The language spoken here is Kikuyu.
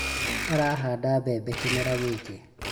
Arahanda mbebe kĩmera gĩkĩ